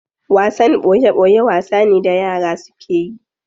Wasan boye boye wasa ne da yara suke yi.